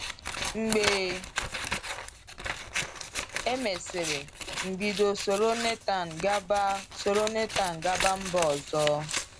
Mgbe emesịrị,m bido soro Nathan gaba soro Nathan gaba mba ọzọ.